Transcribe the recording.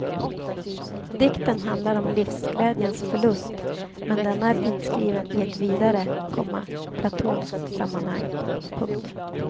Dikten handlar om livsglädjens förlust men denna är inskriven i ett vidare, komma platonskt sammanhang. punkt